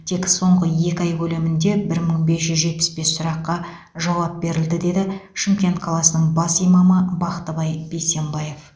тек соңғы екі ай көлемінде бір мың бес жүз жетпіс бес сұраққа жауап берілді деді шымкент қаласының бас имамы бақтыбай бейсенбаев